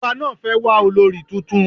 Ọba náà fẹ́ wà olorì tuntun